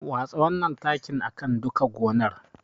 Watsa wannan takin a kan duka gonar.